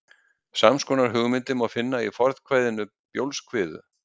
Sams konar hugmyndir má finna í fornkvæðinu Bjólfskviðu.